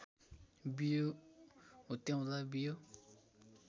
बियो हुत्याउँदा बियो